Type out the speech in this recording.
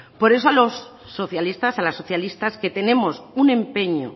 por eso a los socialistas a las socialistas que tenemos un empeño